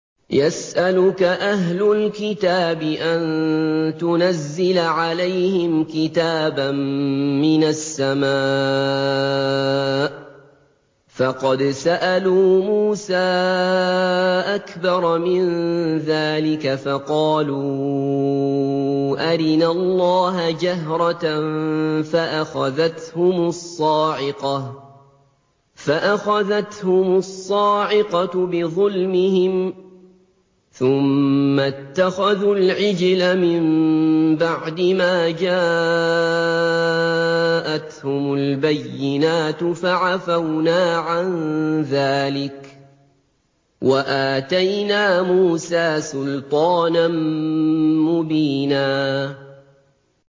يَسْأَلُكَ أَهْلُ الْكِتَابِ أَن تُنَزِّلَ عَلَيْهِمْ كِتَابًا مِّنَ السَّمَاءِ ۚ فَقَدْ سَأَلُوا مُوسَىٰ أَكْبَرَ مِن ذَٰلِكَ فَقَالُوا أَرِنَا اللَّهَ جَهْرَةً فَأَخَذَتْهُمُ الصَّاعِقَةُ بِظُلْمِهِمْ ۚ ثُمَّ اتَّخَذُوا الْعِجْلَ مِن بَعْدِ مَا جَاءَتْهُمُ الْبَيِّنَاتُ فَعَفَوْنَا عَن ذَٰلِكَ ۚ وَآتَيْنَا مُوسَىٰ سُلْطَانًا مُّبِينًا